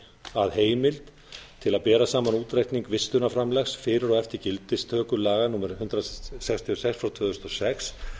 að heimild til að bera saman útreikning vistunarframlags fyrir og eftir gildistöku laga númer hundrað sextíu og sex tvö þúsund og sex